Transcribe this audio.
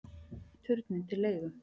Turninn til leigu